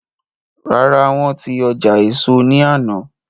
Rárá, wọ́n ti ọjà éso ní àná